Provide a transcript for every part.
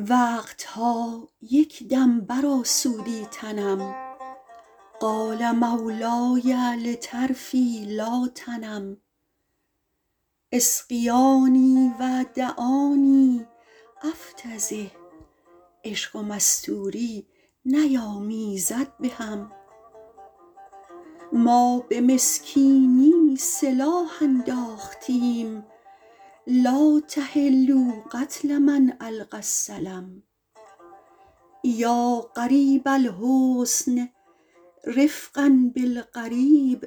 وقت ها یک دم برآسودی تنم قال مولای لطرفی لا تنم اسقیاني و دعاني أفتضح عشق و مستوری نیامیزد به هم ما به مسکینی سلاح انداختیم لا تحلوا قتل من ألقی السلم یا غریب الحسن رفقا بالغریب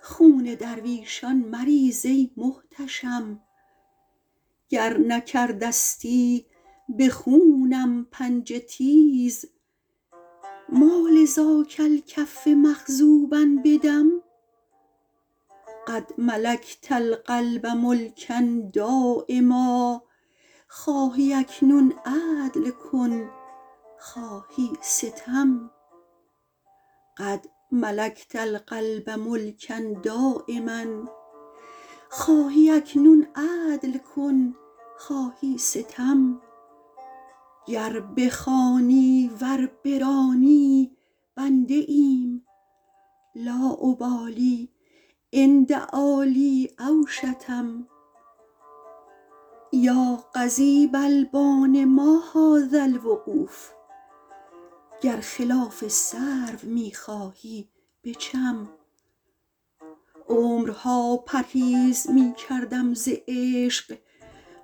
خون درویشان مریز ای محتشم گر نکرده ستی به خونم پنجه تیز ما لذاک الکف مخضوبا بدم قد ملکت القلب ملکا دایما خواهی اکنون عدل کن خواهی ستم گر بخوانی ور برانی بنده ایم لا أبالي إن دعا لی أو شتم یا قضیب البان ما هذا الوقوف گر خلاف سرو می خواهی بچم عمرها پرهیز می کردم ز عشق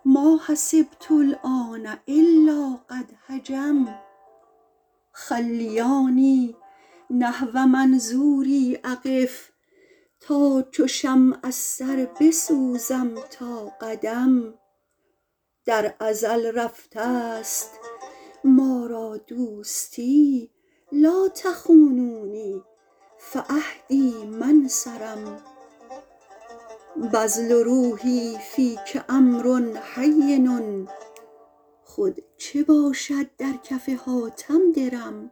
ما حسبت الآن إلا قد هجم خلیاني نحو منظوري أقف تا چو شمع از سر بسوزم تا قدم در ازل رفته ست ما را دوستی لا تخونونی فعهدی ما انصرم بذل روحي فیک أمر هین خود چه باشد در کف حاتم درم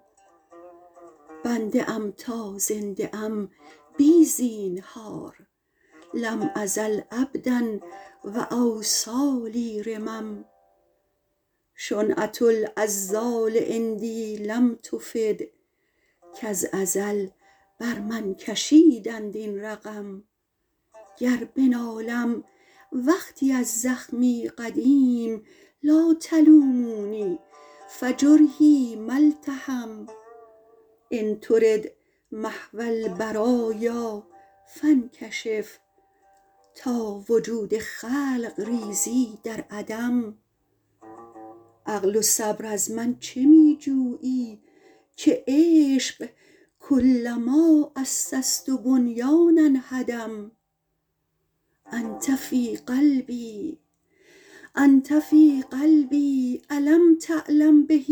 بنده ام تا زنده ام بی زینهار لم أزل عبدا و أوصالي رمم شنعة العذال عندي لم تفد کز ازل بر من کشیدند این رقم گر بنالم وقتی از زخمی قدیم لا تلوموني فجرحي ما التحم إن ترد محو البرایا فانکشف تا وجود خلق ریزی در عدم عقل و صبر از من چه می جویی که عشق کلما أسست بنیانا هدم أنت في قلبي أ لم تعلم به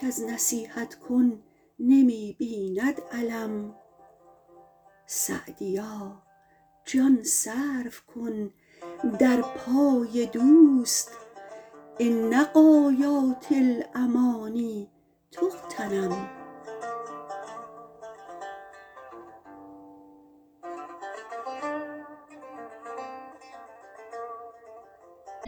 کز نصیحت کن نمی بیند الم سعدیا جان صرف کن در پای دوست إن غایات الأماني تغتنم